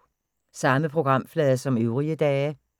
Samme programflade som øvrige dage